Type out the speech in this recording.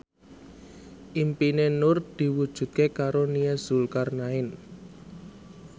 impine Nur diwujudke karo Nia Zulkarnaen